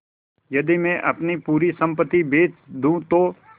यदि मैं अपनी पूरी सम्पति बेच दूँ तो